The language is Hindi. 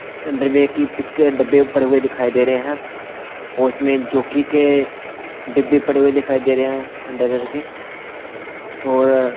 अंडरवेयर की पिक के डिब्बे पड़े हुए दिखाई दे रहे हैं और उसमें जोकी के डिब्बे पड़े हुए दिखाई दे रहे हैं अंडरवेयर के और --